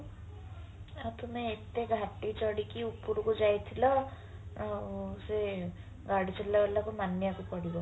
ଆଉ ତମେ ଏତେ ଘାଟି ଚଢିକି ଉପରୁକୁ ଯାଇଥିଲ ଉଁ ସିଏ ଗାଡି ଚଳେଇବା ବାଲାକୁ ମାନିବାକୁ ପଡିବ